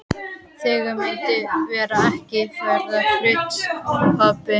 Þegar myndin var tekin var ég flutt til pabba.